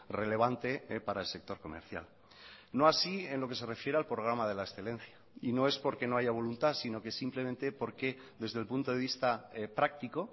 relevante para el sector comercial no así en lo que se refiere al programa de la excelencia y no es porque no haya voluntad sino que simplemente porque desde el punto de vista práctico